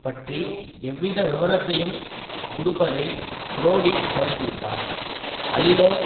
பற்றி எவ்வித விவரத்தையும் கொடுப்பதை புரோடி தவிர்த்துவிட்டார் அதிலோ